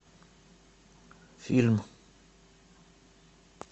фильм